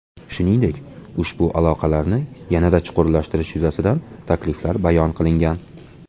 Shuningdek, ushbu aloqalarni yanada chuqurlashtirish yuzasidan takliflar bayon qilingan.